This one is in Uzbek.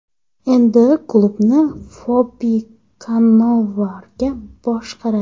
Endi klubni Fabio Kannavaro boshqaradi.